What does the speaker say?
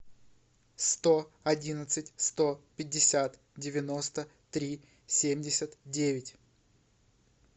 сто одиннадцать сто пятьдесят девяносто три семьдесят девять